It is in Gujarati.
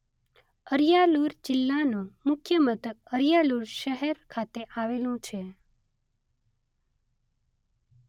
અરિયાલુર જિલ્લાનું મુખ્ય મથક અરિયાલુર શહેર ખાતે આવેલું છે.